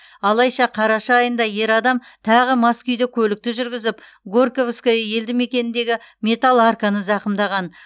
алайша қараша айында ер адам тағы мас күйде көлікті жүргізіп горьковское елді мекеніндегі металл арканы зақымдаған